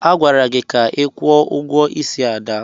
Agwara gị ka kwụọ ụgwọ ísí Ada!